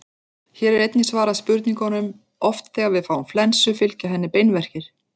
Hér er einnig svarað spurningunum: Oft þegar við fáum flensu fylgja henni beinverkir.